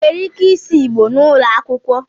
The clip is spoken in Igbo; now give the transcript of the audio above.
Ị nwere ike ịsụ Igbò n'ụlọ akwụkwọ?